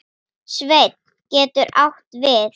Sveinn getur átt við